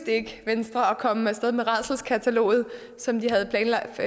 ikke venstre at komme af sted med rædselskataloget som de